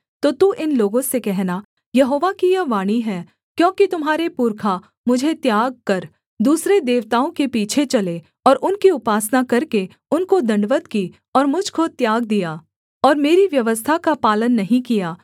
तो तू इन लोगों से कहना यहोवा की यह वाणी है क्योंकि तुम्हारे पुरखा मुझे त्याग कर दूसरे देवताओं के पीछे चले और उनकी उपासना करके उनको दण्डवत् की और मुझ को त्याग दिया और मेरी व्यवस्था का पालन नहीं किया